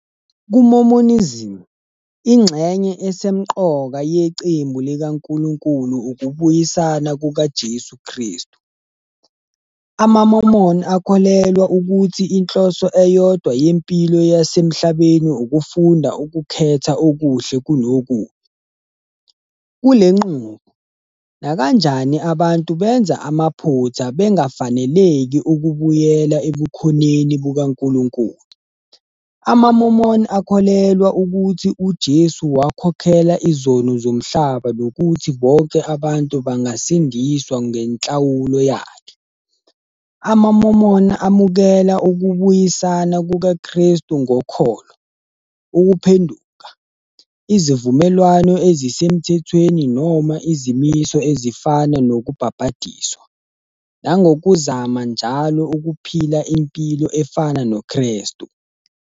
KuMormonism, ingxenye esemqoka yecebo likaNkulunkulu ukubuyisana kukaJesu Kristu. AmaMormon akholelwa ukuthi inhloso eyodwa yempilo yasemhlabeni ukufunda ukukhetha okuhle kunokubi. Kule nqubo, nakanjani abantu benza amaphutha, bengafaneleki ukubuyela ebukhoneni bukaNkulunkulu. AmaMormon akholelwa ukuthi uJesu wakhokhela izono zomhlaba nokuthi bonke abantu bangasindiswa ngenhlawulo yakhe. AmaMormon amukela ukubuyisana kukaKristu ngokholo, ukuphenduka, izivumelwano ezisemthethweni noma izimiso ezifana nokubhabhadiswa, nangokuzama njalo ukuphila impilo efana noKristu.